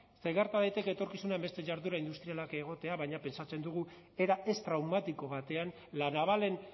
ze gerta daiteke etorkizunean beste jarduera industrialak egotea baina pentsatzen dugu era ez traumatiko batean la navalen